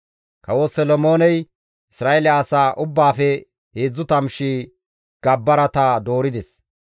Kawo Solomooney Isra7eele asa ubbaafe 30,000 gabbarata doorides.